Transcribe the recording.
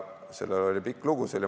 See oli pikk lugu.